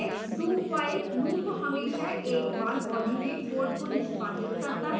dowhile loop हमेशा एक बार body में code को निष्पादित करता है